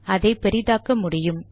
அதை பெரிதாக்க முடியும்